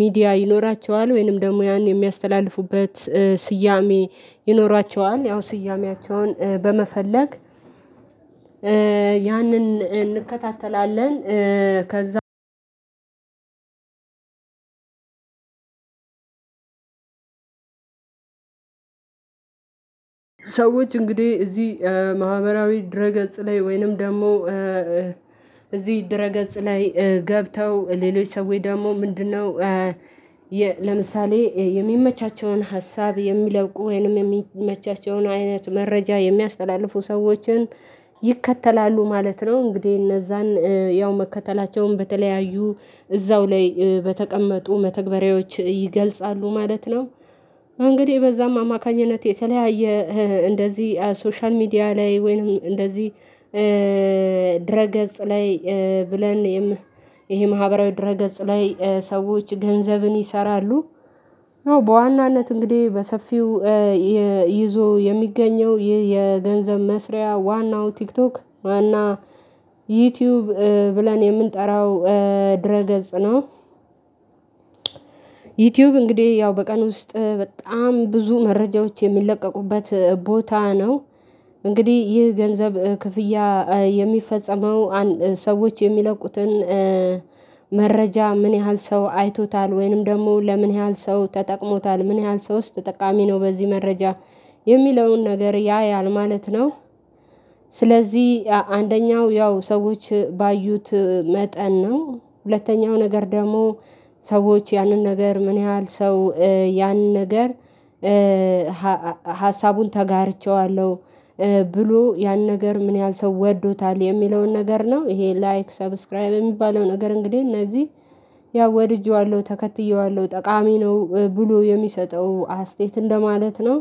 ሚዲያ ይኖራቸዋል ወይንም ደግሞ ያን የሚያስተላልፉበት ስያሜ ይኖራቸዋል ያው ስያሜያቸውን በመፈለግ ያንን እንከታተላለን። ከዛ ሰዎች እንግዲህ እዚህ ማህበራዊ ድረ ገጽ ላይ ወይንም ደግሞ እዚህ ድረ ገጽ ላይ ገብተው ሌሎች ሰዎች ደግሞ ምንድነው ለምሳሌ የሚመቻቸውን ሀሳብ የሚለብቁ ወይንም የሚመቻቸውን አይነት መረጃ የሚያስተላልፉ ሰዎችን ይከተላሉ ማለት ነው። እንግዲህ እነዛን ያው መከተላቸውን በተለያዩ እዛው ላይ በተቀመጡ መተግበሪያዎች ይገልጻሉ ማለት ነው። እንግዲህ በዛም አማካኝነት የተለያየ እንደዚህ ሶሻል ሚዲያ ላይ ወይንም እንደዚህ ገጽ ላይ ብለን ይሄ ማህበራዊ ድረ ገጽ ላይ ሰዎች ገንዘብን ይሰራሉ። በዋናነት እንግዲህ በሰፊው ይዞ የሚገኘው ይህ የገንዘብ መስሪያ ዋናው ቲክቶክ ዋና ዩቲዩብ ብለን የምንጠራው ገጽ ነው። ዩቲዩብ እንግዲህ ያው በቀን ውስጥ በጣም ብዙ መረጃዎች የሚለቀቁበት ቦታ ነው። እንግዲህ ይህ ገንዘብ ክፍያ የሚፈጸመው ሰዎች የሚለቁትን መረጃ ምን ያህል ሰው አይቶታል ወይንም ደግሞ ለምን ያህል ሰው ተጠቅሞታል ምን ያህል ሰው ተጠቃሚ ነው በዚህ መረጃ የሚለውን ነገር ያያል ማለት ነው። ስለዚህ አንደኛው ያው ሰዎች ባዩት መጠን ነው። ሁለተኛው ነገር ደግሞ ሰዎች ያንን ነገር ምን ያህል ሰው ያን ነገር ሀሳቡን ተጋርቼዋለሁ ብሎ ያን ነገር ምን ያህል ሰው ወዶታል የሚለውን ነገር ነው። ይሄ ላይክ ሰብስክራይብ የሚባለው ነገር እንግዲህ እነዚህ ያው ወድጄዋለሁ ተከትዬዋለሁ ጠቃሚ ነው ብሎ የሚሰጠው አስተያየት እንደማለት ነው።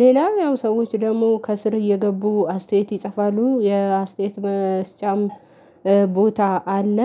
ሌላው ያው ሰዎች ደግሞ ከስር እየገቡ አስተያየት ይጽፋሉ የአስተያየት መስጫም ቦታ አለ